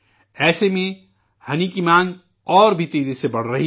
ایسے میں شہد کی مانگ اور بھی تیزی سے بڑھ رہی ہے